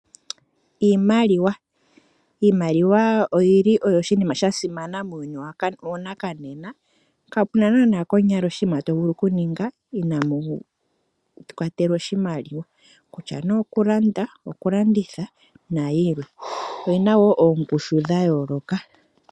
Iimaliwa oyili oyo oshinima shasimana muuyuni wanakanena. Kapuna naana konyala oshinima tovulu okuninga, inaamu kwatelwa oshimaliwa. Okutya nee okulanda, okulanditha, nayilwe. Oyina wo oongushu dhayooloka.